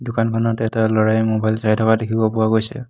দোকানখনত এটা ল'ৰাই মোবাইল চাই থকা দেখিব পোৱা গৈছে।